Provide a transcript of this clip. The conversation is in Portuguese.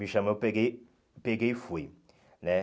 Me chamou, eu peguei peguei e fui, né?